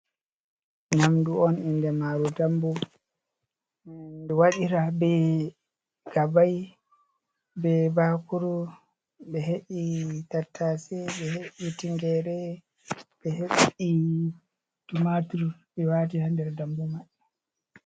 Nyamdu on inde maaru dambu, ndu waɗira be gabai, be baakuru, ɓe he’i tattaase, ɓe he'i tingere, ɓe he'i tumaatur, ɓe waati ha nder dambu mai.